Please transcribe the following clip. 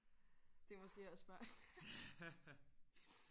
Det er måske også bare